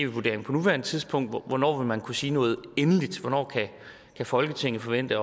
vurderingen på nuværende tidspunkt hvornår vil man så kunne sige noget endeligt hvornår kan folketinget forvente at